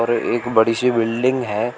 यह एक बड़ी सी बिल्डिंग है।